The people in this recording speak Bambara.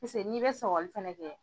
n'i bɛ sɔgɔli fɛnɛ kɛ.